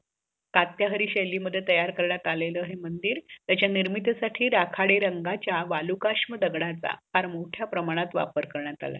कात्याहारी शेली मध्ये तयार करण्यात आल्याल हे मंदिर त्याची निर्मितसाठी राखडे रंगाच्या वालुकाषम दगडच फार मोठ्या प्रमाणत वापर करण्यत आला आहे